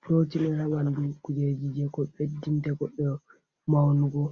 puroti on ha ɓanndudu kujeji je ko ɓeddinta goɗɗoo maunugo.